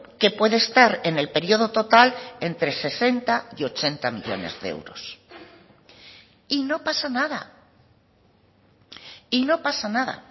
que puede estar en el periodo total entre sesenta y ochenta millónes de euros y no pasa nada y no pasa nada